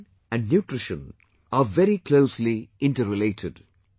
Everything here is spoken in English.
Nation and Nutriti on are very closely interrelated